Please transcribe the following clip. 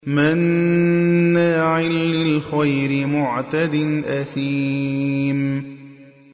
مَّنَّاعٍ لِّلْخَيْرِ مُعْتَدٍ أَثِيمٍ